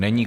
Není.